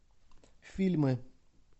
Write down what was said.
фильмы